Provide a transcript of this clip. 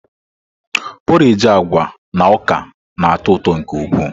Porrage agwa na ọka na-atọ ụtọ nke ukwuu.